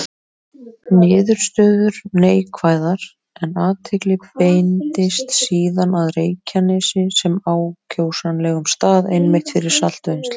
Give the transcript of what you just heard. Niðurstöður neikvæðar, en athygli beindist síðan að Reykjanesi sem ákjósanlegum stað einmitt fyrir saltvinnslu.